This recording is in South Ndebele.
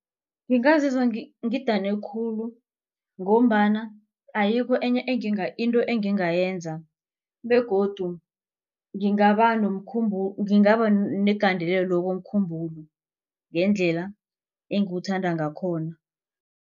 Ngingazizwa ngidane khulu ngombana ayikho enye into engingayenza begodu ngingaba ngingaba negandelelelo lokomkhumbulo ngendlela engiwuthanda ngakhona.